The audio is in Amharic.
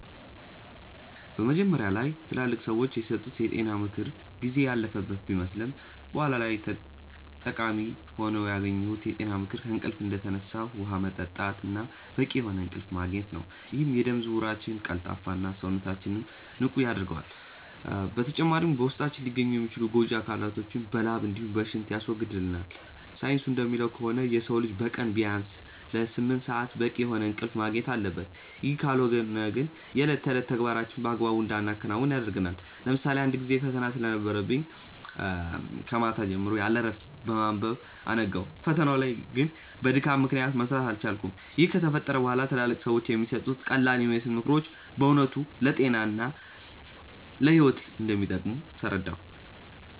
መጀመሪያ ላይ ትላልቅ ሰዎች የሰጡት የጤና ምክር ጊዜ ያለፈበት ቢመስልም በኋላ ላይ ጠቃሚ ሆኖ ያገኘሁት የጤና ምክር ከእንቅልፍ እንደተነሱ ውሃ መጠጣት እና በቂ የሆነ እንቅልፍ ማግኘት ነው፤ ይህም የደም ዝውውራችንን ቀልጣፋ እና፣ ሰውነታችንንም ንቁ ያደርገዋል። በተጨማሪም በውስጣችን ሊገኙ የሚችሉ ጎጂ አካላቶችን በላብ እንዲሁም በሽንት ያስወግድልናል። ሳይንሱ እንደሚለው ከሆነ የሰው ልጅ በቀን ቢያንስ ለስምንት ሰአት በቂ የሆነ እንቅልፍ ማግኘት አለበት፤ ይህ ካልሆነ ግን የእለት ተዕለት ተግባራችንን በአግባቡ እንዳናከናውን ያደርገናል። ለምሳሌ አንድ ጊዜ ፈተና ስለነበረብኝ ከማታ ጀምሮ ያለእረፍት በማንበብ አነጋው። ፈተናው ላይ ግን በድካም ምክንያት መስራት አልቻልኩም። ይህ ከተፈጠረ በኋላ ትላልቅ ሰዎች የሚሰጡት ቀላልየሚመስሉ ምክሮች በእውነት ለጤና እና ለህይወት እንደሚጠቅሙ ተረዳሁ።